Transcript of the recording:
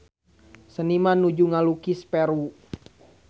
Seniman nuju ngalukis Peru